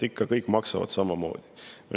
Kõik maksavad samamoodi.